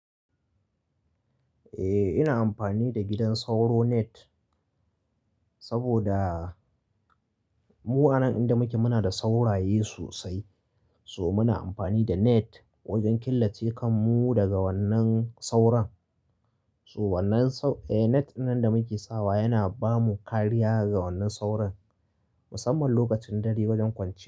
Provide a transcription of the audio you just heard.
Eh ina amfani da gidan sauro net, saboda, mu anan inda muke muna da sauraye sosai. So muna amfani da net wajen killace kanmu daga wannan sauron. So wannan sau-- eh net dinnan da muke sawa yana bamu kariya ga wannan sauron, musamman lokacin dare wajen kwanciya.